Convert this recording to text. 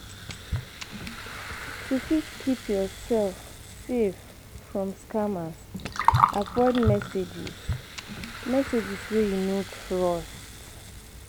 To fit keep yourself safe from scammers, avoid messages, messages wey you no trust